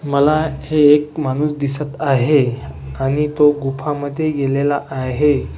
मला हे एक माणूस दिसत आहे आणि तो गुफामध्ये गेलेला आहे.